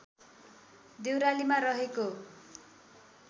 देउरालीमा रहेको